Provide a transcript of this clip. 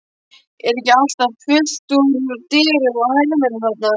Er ekki alltaf fullt út úr dyrum af hermönnum þarna?